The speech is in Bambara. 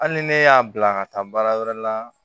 Hali ni ne y'a bila ka taa baara wɛrɛ la